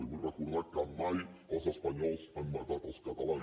li vull recordar que mai els espanyols han matat els catalans